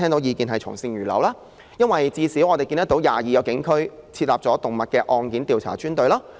原因在於，現時至少有22個警區已設立動物案件調查專隊。